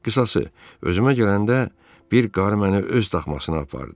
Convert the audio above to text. Qısası, özümə gələndə bir qarı məni öz daxmasına apardı.